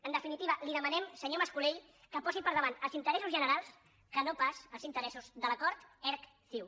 en definitiva li demanem senyor mas colell que posi per davant els interessos generals que no pas els interessos de l’acord erc ciu